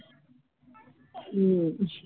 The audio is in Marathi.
हम्म